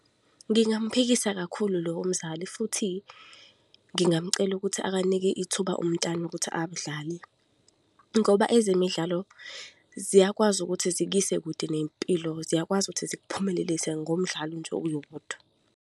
Ngingamuphikisa kakhulu lowo mzali, futhi ngingamcela ukuthi ake anike ithuba umntwana ukuthi adlale ngoba ezemidlalo, ziyakwazi ukuthi zikuyise kude nempilo, ziyakwazi ukuthi zikuphumelelise ngomdlalo nje uwodwa.